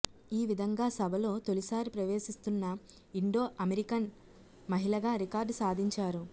ఈ విధంగా సభలో తొలిసారి ప్రవేశిస్తున్న ఇండో అమెరికన్ మహిళగా రికార్డు సాధించారు